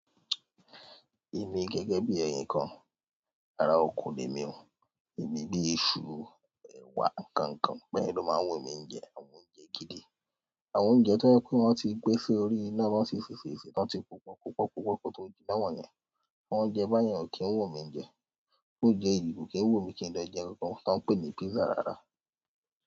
Emi gẹ́gẹ́ bí ẹ̀ní kan, ara oko ni emí ò, èmi bí iṣu, ẹ̀wà, nǹkan nǹkan beyén ló máa ń wù emí n jẹ àwọn oúnjẹ gidi. Àwọn oúnjẹ tó je pe wọ́n ti gbè si orí iná tóń tì ṣèṣe tón ti poo pọ̀ pọ́pọ́pọ́pọ́ ko to jiná wọ́n yẹn, àwọn oúnjẹ báyẹn ò kí ń wù mí jẹ. Óunjẹ́ oyìnbo kò kí n wù mí kí n lọ jẹ ohunkóhun tó ń pè ní pizza rárá.